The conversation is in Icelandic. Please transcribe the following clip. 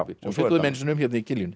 við fjölluðum einu sinni um hérna í